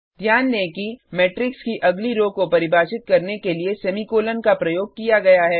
ध्यान दें कि मेट्रिक्स की अगली रो को परिभाषित करने के लिए सेमीकोलन का प्रयोग किया गया है